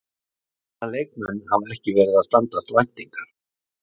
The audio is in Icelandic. Hvaða leikmenn hafa ekki verið að standast væntingar?